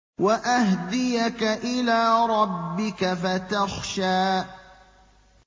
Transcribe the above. وَأَهْدِيَكَ إِلَىٰ رَبِّكَ فَتَخْشَىٰ